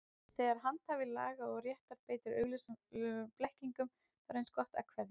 Þegar handhafi laga og réttar beitir augljósum blekkingum, þá er eins gott að kveðja.